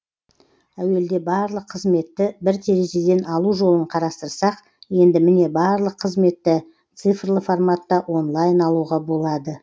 әуелде барлық қызметті бір терезеден алу жолын қарастырсақ енді міне барлық қызметті цифрлы форматта онлайн алуға болады